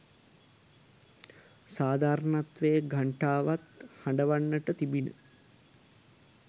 සාධාරණත්වයේ ඝණ්ඨාවවත් හඬවන්නට තිබිණ.